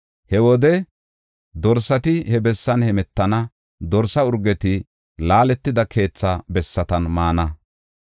He wode dorsati he bessan heemetana; dorsa urgeti laaletida keetha bessatan maana.